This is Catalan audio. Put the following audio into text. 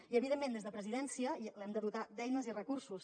i evidentment des de presidència l’hem de dotar d’eines i recursos